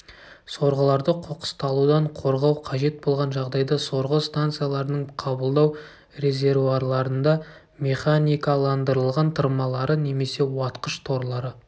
сорғыларды қоқысталудан қорғау қажет болған жағдайда сорғы станцияларының қабылдау резервуарларында механикаландырылған тырмалары немесе уатқыш-торлары